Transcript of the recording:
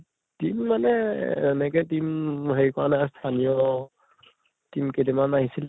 team মানে, এনেকে team হেৰি কৰা নাই , স্থানীয় team কেইটামান আহিছিল ।